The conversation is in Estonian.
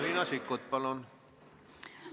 Riina Sikkut, palun!